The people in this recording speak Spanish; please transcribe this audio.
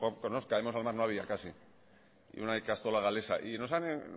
caemos al mar no había casi ni una ikastola galesa y nos